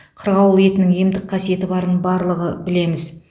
қырғауыл етінің емдік қасиеті барын барлығы білеміз